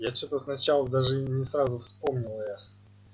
я что-то сначала даже и не сразу вспомнил её